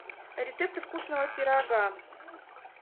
рецепты вкусного пирога